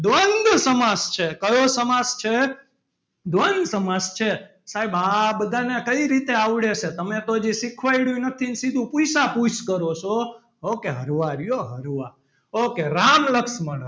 દ્વંદ સમાજ છે કયો સમાસ છે દ્વંદ સમાસ છે. સાહેબ આ બધાને કઈ રીતે આવડે છે. તમે તો હજી શીખવાડ્યું નથી. સીધું પૂછ્યા પૂછ કરો છો. okay હરવા રહ્યો હરવા okay રામ લક્ષ્મણ,